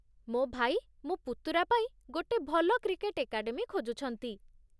ମୋ ଭାଇ ମୋ ପୁତୁରା ପାଇଁ ଗୋଟେ ଭଲ କ୍ରିକେଟ ଏକାଡେମୀ ଖୋଜୁଛନ୍ତି